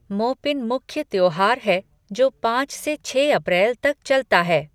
मोपिन मुख्य त्योहार है जो पाँच से छः अप्रैल तक चलता है।